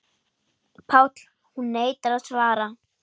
PÁLL: Hún neitar að svara.